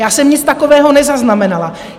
Já jsem nic takového nezaznamenala.